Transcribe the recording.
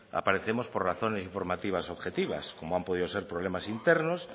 aparecemos por razones informativas objetivas como han podido ser problemas internos